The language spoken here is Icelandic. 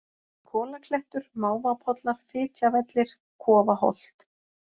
Kolaklettur, Mávapollar, Fitjavellir, Kofaholt